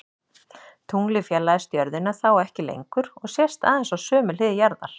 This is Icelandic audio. Tunglið fjarlægist jörðina þá ekki lengur og sést aðeins á sömu hlið jarðar.